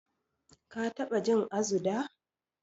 Ka taɓa jin Azu da?